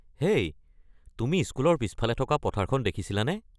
হেই, তুমি স্কুলৰ পিছফালে থকা পথাৰখন দেখিছিলানে?